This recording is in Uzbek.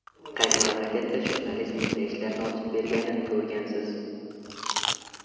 Qaysi mamlakatda jurnalist bunday ishlarni ochib berganini ko‘rgansiz?